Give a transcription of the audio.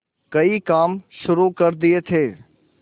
कई काम शुरू कर दिए थे